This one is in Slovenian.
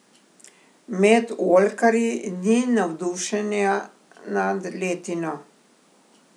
Med oljkarji ni navdušenja nad letino.